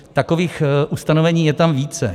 Takových ustanovení je tam více.